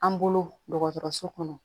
An bolo dɔgɔtɔrɔso kɔnɔ